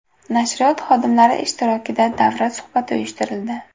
Nashriyot xodimlari ishtirokida davra suhbati uyushtirildi.